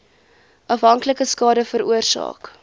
afhanklikheid skade veroorsaak